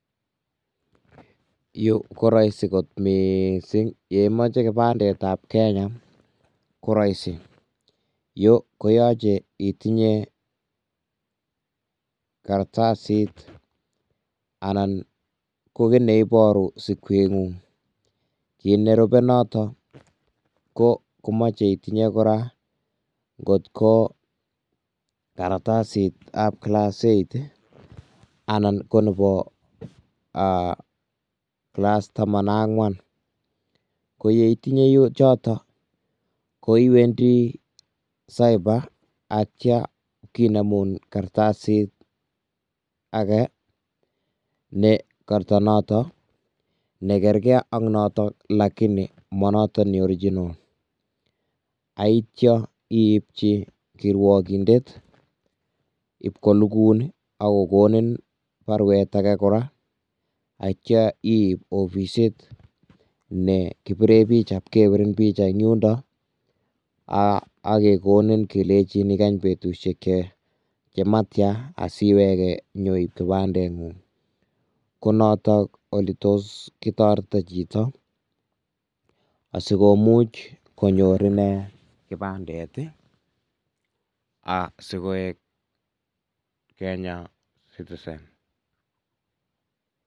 Yu ko roisi kot mising, ye imoche kibandet ab Kenya ko roisi, yu koyoche itinye kartasit anan kit ne iboru sikengung, kit nerube notok koyoche itinye kora ngotko kartasit ab class eight anan ko nebo class taman ak angwan, ko yeitinye jotok ko iwendi cyber ak Kya kinemun kartasit ake ne kato notok nekerke ak notok lakini ma notok me original, ak ityyo iibchi kirwokindet ipko nukun ak kokonin barwet ake kora, ak itya iiib kwo ofisit ne kibire picha ipke birin picha eng yundo ak kekonin kele ikany betusiek jematyan asiweke inyoiib kibandet ngung, ko notok ole tos ketoretito chito asikomuch konyor inee kibandet ii ak koek Kenyan citizen.